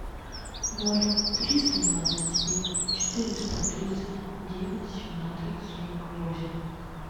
ноль триста двадцать семь четыреста тридцать девять семнадцать сорок восемь